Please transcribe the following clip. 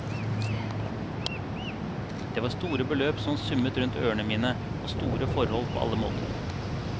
Det var store beløp som summet rundt ørene mine og store forhold på alle måter.